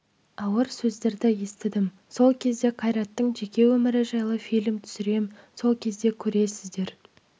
ауыр сөздерді естідім сол кезде қайраттың жеке өмірі жайлы фильм түсірем сол кезде көресіздер